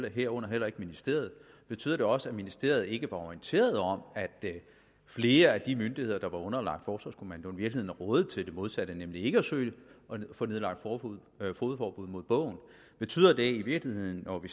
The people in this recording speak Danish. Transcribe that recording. og herunder heller ikke ministeriet betyder det også at ministeriet ikke var orienteret om at flere af de myndigheder der var underlagt forsvarskommandoen i virkeligheden rådede til det modsatte nemlig til ikke at søge at få nedlagt fogedforbud mod bogen betyder det i virkeligheden når vi